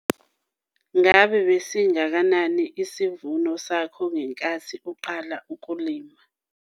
Ngabe besingakanani isivuno sakho ngenkathi uqala ukulima?